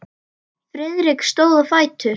Friðrik stóð á fætur.